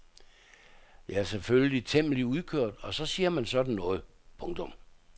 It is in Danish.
Jeg er selvfølgelig temmelig udkørt og så siger man sådan noget. punktum